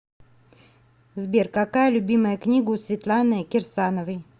сбер какая любимая книга у светланы кирсановой